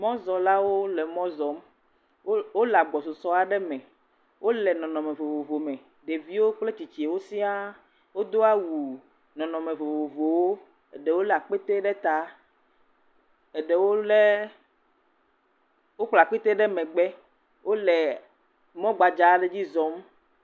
Mɔzɔlawo le mɔ zɔm wole agbɔsɔsɔ gã aɖe me wole nɔnɔme vovovo me, ɖeviwo kpletsitsiwo siaa, wodo awu nɔnɔme vovovowo aɖewo lé akpete ɖe ta, wokpla akpete ɖe megbe wole mɔ gbadza aɖe dzi zɔm.